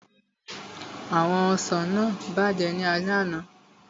Àwọn ọsàn bàjẹ́ ní alẹ́ àná